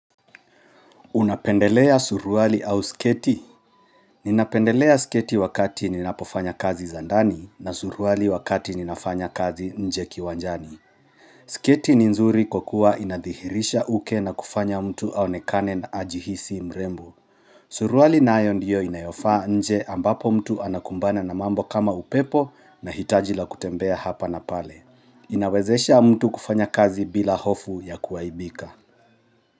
Unapendelea suruali au sketi ninapendelea sketi wakati ninapofanya kazi zandani na suruwali wakati ninafanya kazi nje kiwanjani sketi ni nzuri kwakuwa inadhihirisha uke na kufanya mtu aonekane na ajihisi mrembo suruwali naayo ndiyo inayofaa nje ambapo mtu anakumbana na mambo kama upepo na hitaji la kutembea hapa na pale Inawezesha mtu kufanya kazi bila hofu ya kuaibika.